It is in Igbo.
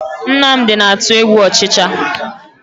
Nnamdi na-atụ egwu ọchịcha